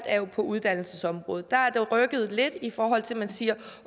er uddannelsesområdet der har det rykket lidt i forhold til at man siger